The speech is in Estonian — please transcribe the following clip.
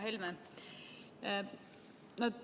Härra Helme!